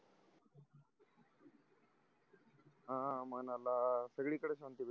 हा मनाला सगळी कडे शांती भेटते